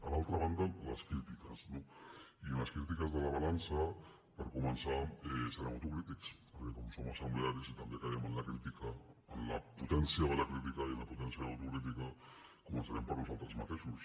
a l’altra banda les crítiques no i en les crítiques de la balança per començar serem autocrítics perquè com que som assemblearis i també caiem en la crítica en la potència de la crítica i en la potència de l’autocrítica començarem per nosaltres mateixos